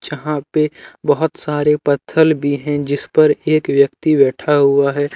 यहां पे बहोत सारे पत्थल भी हैं जिस पर एक व्यक्ति बैठा हुआ है।